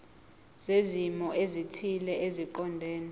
zezimo ezithile eziqondene